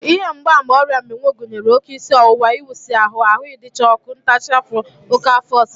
Ihe mgbaàmà ọrịa mmịnwụ gụnyere oké isi ọwụwa, ịwụsị ahụ, ahụ ịcha ọkụ, ntachi afọ, oké afọ ọsịsa